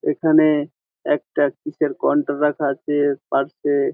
এখানে একটা কিসের কন্ট্রো রাখা আছে পার্সএ --